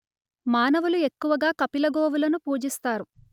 మానవులు ఎక్కువగా కపిలగోవులను పూజిస్తారు